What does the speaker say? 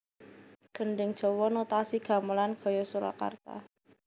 Gendhing Jawa Notasi Gamelan gaya Surakarta